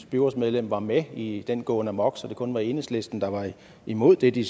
byrådsmedlem var med i den gåen amok så det kun var enhedslisten der var imod det de